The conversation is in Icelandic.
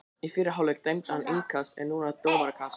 Í fyrri hálfleik dæmdi hann innkast en núna dómarakast.